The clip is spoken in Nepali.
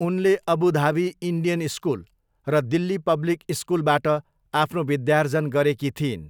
उनले अबु धाबी इन्डियन स्कुल र दिल्ली पब्लिक स्कुलबाट आफ्नो विद्यार्जन गरेकी थिइन्।